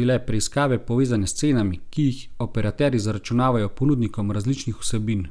bile preiskave povezane s cenami, ki jih operaterji zaračunavajo ponudnikom različnih vsebin.